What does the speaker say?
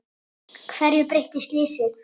Hverju breytti slysið?